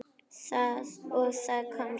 Og það tókst!